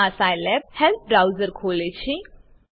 આ Scilab help browser ખોલે છે